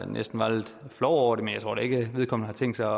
næsten var lidt flov over det men jeg tror da ikke at vedkommende har tænkt sig